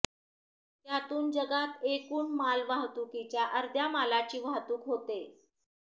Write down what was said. त्यातून जगात एकूण माल वाहतुकीच्या अर्ध्या मालाची वाहतूक होते